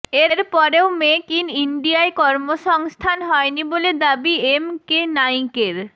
এরপরেও make in ইন্ডিয়ায় কর্মসংস্থান হয়নি বলে দাবি এম কে নায়িকের